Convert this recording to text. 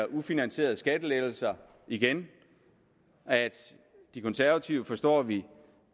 ufinansierede skattelettelser igen de konservative forstår vi